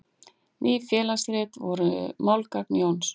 Ný félagsrit voru málgagn Jóns.